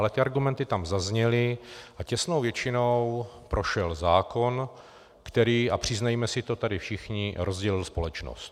Ale ty argumenty tam zazněly a těsnou většinou prošel zákon, který, a přiznejme si to tady všichni, rozdělil společnost.